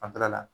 Fanfɛla la